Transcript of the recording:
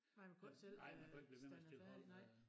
Nej man ikke selv øh stille færdig nej